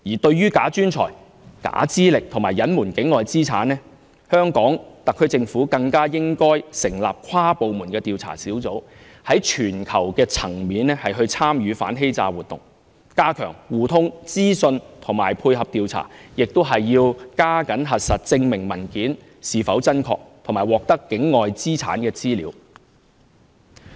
至於"假專才"、假資歷及隱瞞境外資產，香港特區政府更應成立跨部門的調查小組，在全球層面參與反欺詐活動，加強資訊互通和配合調查，並要加緊核實證明文件是否真確，以及獲得境外資產的資料。